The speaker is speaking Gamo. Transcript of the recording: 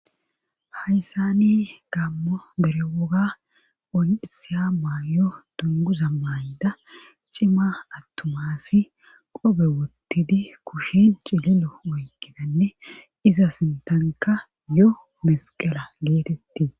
hayssani gammo dere woga on isiya maayo dunguza mayda cima attumaassi qobe wottidi kushin cililo oykkidanne iza sintanka yo mesqela geetetti